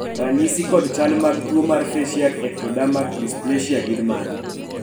ranyisi kod chal mag tuo mar faciak ectodermak dysplasia gin mage?